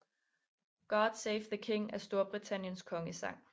God Save the King er Storbritanniens kongesang